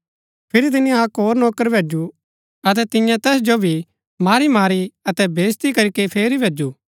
फिरी तिनी अक्क होर नौकर भैजु अतै तियें तैस जो भी मारी मारी अतै बेईज्ती करीके फेरी भैजु